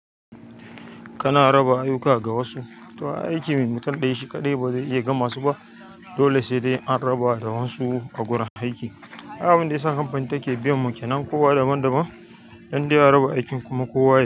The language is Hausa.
Kana raba aiyuka ga wasu. To aiki mai mutun ɗaya shi kaɗai ba zai iya gama su ba, dole sai dai anraba da wansu a gurin aiki, ai abunda yasa kamfani take biyan mu kenan kowa daban daban indai a raba ikon kuma kowa yai,